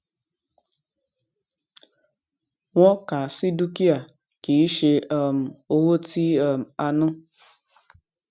wọn kà á sí dúkìá kì í ṣe um owó tí um a ná